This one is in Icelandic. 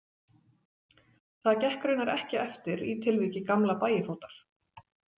Það gekk raunar ekki eftir í tilviki gamla Bægifótar.